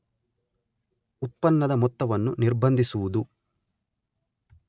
ಉತ್ಪನ್ನದ ಮೊತ್ತವನ್ನು ನಿರ್ಬಂಧಿಸುವುದು